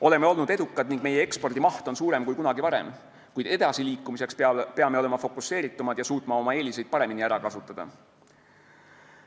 Oleme olnud edukad ning meie ekspordi maht on suurem kui kunagi varem, kuid edasiliikumiseks peame olema fokuseeritumad ja suutma oma eeliseid paremini ära kasutada.